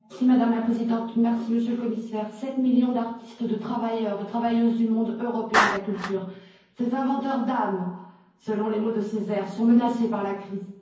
Madame la Présidente, Monsieur le Commissaire, 7 millions d'artistes, de travailleurs, de travailleuses du monde européen de la culture, ces inventeurs d'âme, selon les mots de Césaire, sont menacés par la crise.